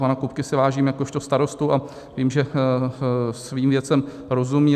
Pana Kupky si vážím jakožto starosty a vím, že svým věcem rozumí.